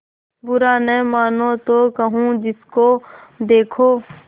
बुरा न मानों तो कहूँ जिसको देखो